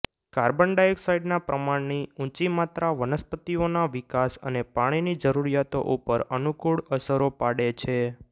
carbon ડાયોક્સાઇડના પ્રમાણની ઊંચી માત્રા વનસ્પતિઓના વિકાસ અને પાણીની જરૂરીયાતો ઉપર અનુકુળ અસરો પાડે છે